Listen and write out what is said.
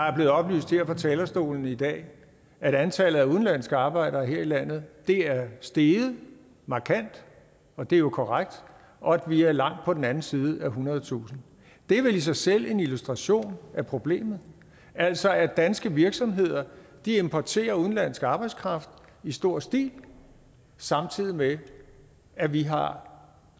er blevet oplyst her fra talerstolen i dag at antallet af udenlandske arbejdere her i landet er steget markant og det er jo korrekt og at vi er langt på den anden side af ethundredetusind det er vel i sig selv en illustration af problemet altså at danske virksomheder importerer udenlandsk arbejdskraft i stor stil samtidig med at vi har